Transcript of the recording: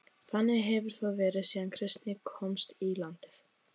Þannig hefur það verið síðan kristni komst í landið.